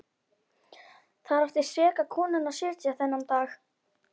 Þar átti seka konan að sitja þennan dag.